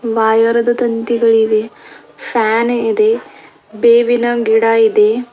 Wire ಅದ ತಂತಿಗಳಿವೆ fan ಇದೆ ಬೇವಿನ ಗಿಡ ಇದೆ.